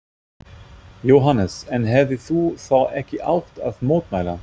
Jóhannes: En hefðir þú þá ekki átt að mótmæla?